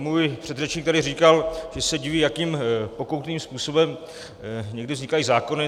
Můj předřečník tady říkal, že se diví, jakým pokoutním způsobem někdy vznikají zákony.